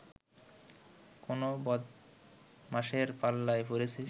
কোন বদমাশের পাল্লায় পড়েছিস